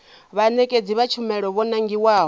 vhaṋetshedzi vha tshumelo vho nangiwaho